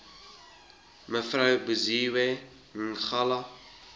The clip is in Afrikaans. mev buziwe ngaleka